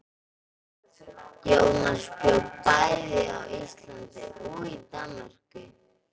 Jónas bjó bæði á Íslandi og í Danmörku.